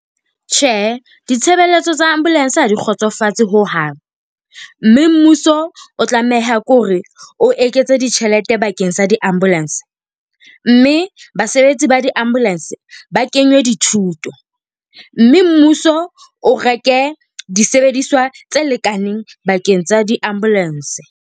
Tjhe, ditshebeletso tsa ambulance ha di kgotsofatse hohang, mme mmuso o tlameha ke hore o eketse ditjhelete bakeng sa di-ambulance. Mme basebetsi ba di-ambulance ba kenwe dithuto. Mme mmuso o reke disebediswa tse lekaneng bakeng tsa di-ambulance.